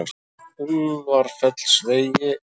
Úlfarfellsvegi